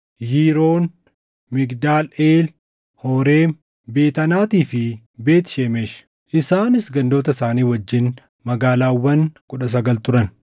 Yiroon, Migdaal Eel, Horeem, Beet Anaatii fi Beet Shemesh. Isaanis gandoota isaanii wajjin magaalaawwan kudha sagal turan.